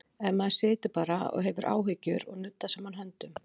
Ef maður situr bara og hefur áhyggjur og nuddar saman höndum?